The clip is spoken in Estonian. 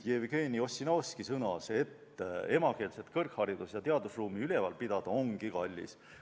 Jevgeni Ossinovski sõnas, et emakeelset kõrgharidus- ja teadusruumi üleval pidada ongi kallis.